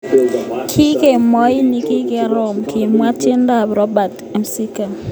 Kikemoi nikikorom, kimwa netindet ab Robert McCracken.